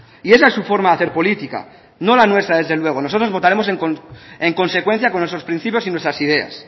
y esa es su forma de hacer política no la nuestra desde luego votaremos en consecuencia con nuestros principios y nuestras ideas